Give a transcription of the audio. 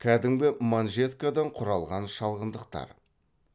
кәдімгі манжеткадан құралған шалғындықтар